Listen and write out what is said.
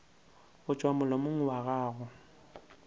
go tšwa molomong wa gago